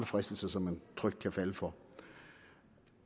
fristelser som man trygt kan falde for